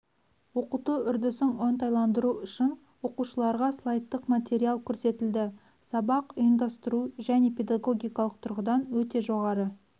оқыту үрдісін оңтайландыру үшін оқушыларға слайдтық материал көрсетілді сабақ ұйымдастыру және педагогикалық тұрғыдан өте жоғары